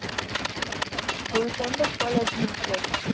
school friend જ college માં છે?